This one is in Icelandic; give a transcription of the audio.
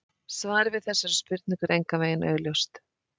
Svarið við þessari spurningu er engan veginn augljóst.